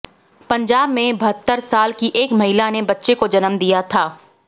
पंजाब में बहत्तर साल की एक महिला ने बच्चे को जन्म दिया था